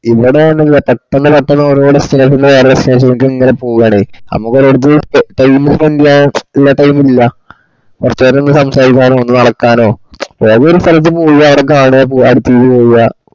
ല്ലടാനുല്ല പെട്ടെന്ന് പെട്ടെന്ന് ഓരോരു station ന്ന് വേറെരു station ലേക്ക് ഇങ്ങനെ പൊക്യാണ് നമ്മക്ക് ഒരിടത് time spend ചൈയ്യാനുള്ള time ല്ല കോർച്ചേരൊന്ന് സംസാരിക്കാനൊ ഒന്നുനടക്കാനൊ ഏതങ്കിലുംഒരു സ്ഥലത്തു പോവ്യ് അവുട കണ്ണ്യ പോവുവ അടുത്തേക്കു പോവ്യ്